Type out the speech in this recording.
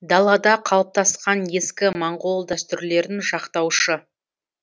далада қалыптасқан ескі моңғол дәстүрлерін жақтаушы